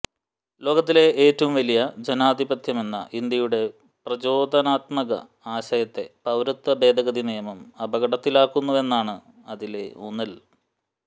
ലോകത്തിലെ ഏറ്റവും വലിയ ജനാധിപത്യമെന്ന ഇന്ത്യയുടെ പ്രചോദനാത്മക ആശയത്തെ പൌരത്വ ഭേദഗതി നിയമം അപകടത്തിലാക്കുന്നുവെന്നാണ് അതിലെ ഊന്നൽ